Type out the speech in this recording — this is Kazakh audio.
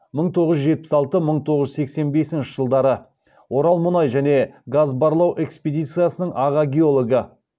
мың тоғыз жүз жетпіс алты мың тоғыз жүз сексен бесінші жылдары орал мұнай және газ барлау экспедициясының аға геологы